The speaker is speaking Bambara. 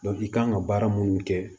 i kan ka baara minnu kɛ